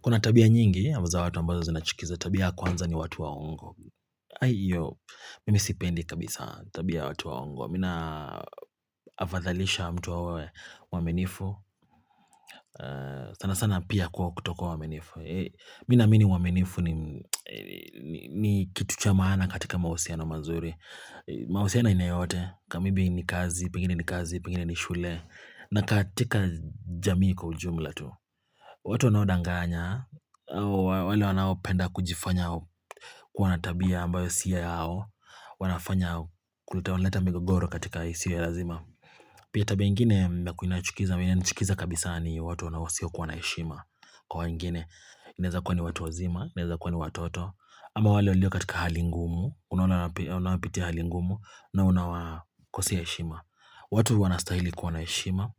Kuna tabia nyingi, za watu ambazo zinachukiza. Tabia ya kwanza ni watu waongo. Kwahiyo, mimi sipendi kabisa tabia watu waongo. Mimi nina afadhalisha mtu awe mwaminifu. Sana sana pia kwa kutokuwa mwaminifu. Mimi ninaamini uaminifu ni kitu cha maana katika mahusiano mazuri. Mahusiano ainayoyote. Kamaybe ni kazi, pengine ni kazi, pengine ni shule. Na katika jamii kwa ujumla tu. Watu wanaodanganya, wale wanaopenda kujifanya wana tabia ambayo sio yao, wanafanya kuleta leta migogoro katika isiyo lazima. Pia tabia nyingine inachukiza, inachukiza kabisa ni watu wanaosiyo kuwa naheshima. Kwa wengine, inweza kuwa ni watu wazima, inaweza kuwa ni watoto, ama wale walio katika hali ngumu, wanapitia hali ngumu, na unawakosea heshima. Watu wanastahili kuwa na heshima